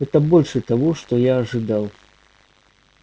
это больше того что я ожидал